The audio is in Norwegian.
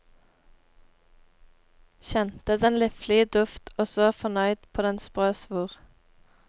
Kjente den liflige duft, og så fornøyd på den sprø svor.